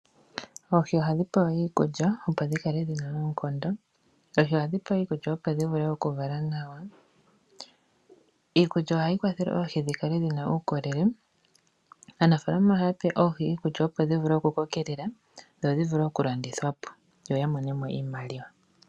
Oohi ohadhi pewa iikulya opo dhi kale dhi na oonkondo .Ohadhi pewa woo iikulya opo dhi vule okuvala nawa. Iikulya ohayi kwathele oohi dhi kale dhi na uukolele . Aanafalama ohaya pe oohi iikulya opo dhi vule okukokelela dho dhi vule okulandithwa po yo ya mone mo iimaliwa.